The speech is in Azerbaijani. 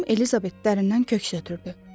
Xanım Elizabet dərindən köks ötrüdü.